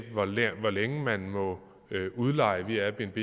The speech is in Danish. hvor længe man må udleje via airbnb